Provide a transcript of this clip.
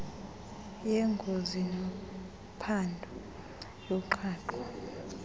yengozi nomphandi woqhaqho